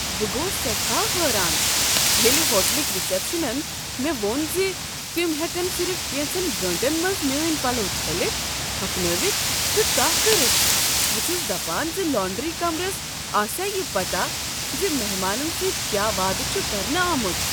بہٕ گوس سیٹھا حیران ییٚلہ ہوٹلٕکۍ رسپشنن مےٚ ووٚن ز تم ہیکن صرف کینژن گٲنٹن منز میٲنۍ پلو چھٔلتھ، ہۄکھنٲوتھ تہٕ تہہ کٔرتھ۔ بہٕ چھس دپان ز لانڈری کمرس آسیا یہ پتہ ز مہمانن سۭتۍ کیا وعدٕ چھ کرنہٕ آمت۔